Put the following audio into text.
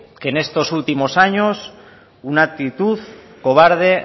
que en estos últimos años una actitud cobarde e